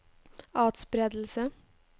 atspredelse